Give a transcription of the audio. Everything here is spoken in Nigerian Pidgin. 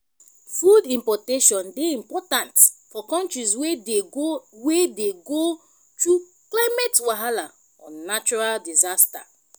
food importation dey important for countries wey dey go wey dey go through climate wahala or natural disaster